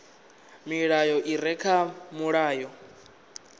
milayo i re kha mulayo